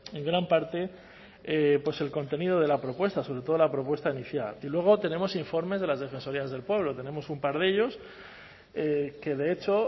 en gran parte el contenido de la propuesta sobre todo la propuesta inicial y luego tenemos informes de las defensorías del pueblo tenemos un par de ellos que de hecho